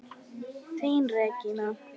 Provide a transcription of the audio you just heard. Þín Regína.